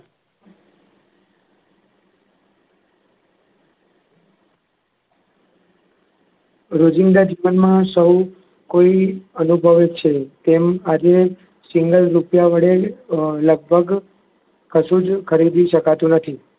રોજિંદા જીવનમાં સૌ કોઈ અનુભવે છે. જેમ આજે single રૂપિયા વડે લગભગ કશું જ ખરીદી શકાતું નથી.